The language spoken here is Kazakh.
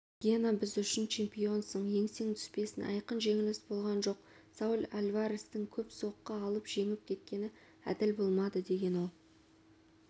гена біз үшін чемпионсың еңсең түспесін айқын жеңіліс болған жоқ сауль альварестің көп соққы алып жеңіп кеткені әділ болмады деген ол